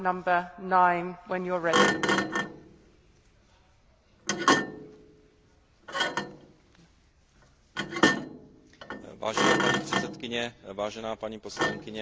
Vážená paní předsedkyně, vážená paní poslankyně, dámy a pánové, Evropská rada se v prosinci loňského roku dohodla na plánu evropské hospodářské